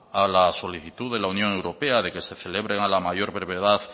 a la solicitud de la unión europea de que se celebren a la mayor brevedad